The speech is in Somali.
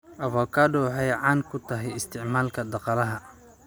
Avocado waxay caan ku tahay isticmaalka dhaqaalaha.